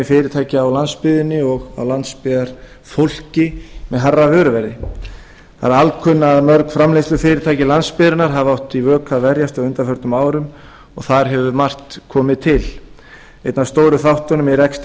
fyrirtækja á landsbyggðinni og á landsbyggðarfólki með hærra vöruverði það er alkunna að mörg framleiðslufyrirtæki landsbyggðarinnar hafa átt í vök að verjast á undanförnum árum og þar hefur margt komið til einn af stóru þáttunum í rekstri